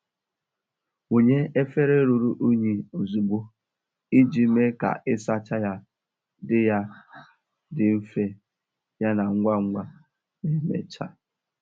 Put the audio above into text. Wunye efere ruru unyi ozugbo iji mee ka ịsacha ya dị ya dị mfe yana ngwa ngwa ma emechaa.